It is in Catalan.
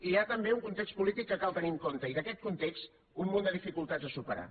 hi ha també un context polític que cal tenir en compte i d’aquest context un munt de dificultats a superar